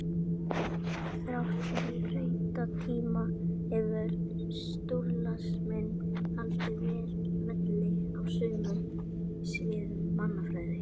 Þrátt fyrir breytta tíma hefur strúktúralisminn haldið velli á sumum sviðum mannfræði.